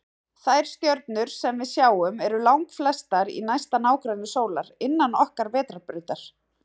Þær stjörnur sem við sjáum eru langflestar í næsta nágrenni sólar, innan okkar vetrarbrautar.